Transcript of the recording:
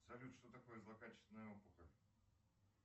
салют что такое злокачественная опухоль